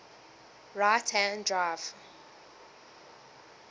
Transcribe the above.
right hand drive